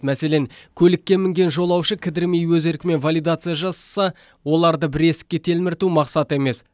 мәселен көлікке мінген жолаушы кідірмей өз еркімен валидация жасаса оларды бір есікке телмірту мақсат емес